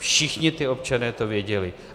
Všichni ti občané to věděli.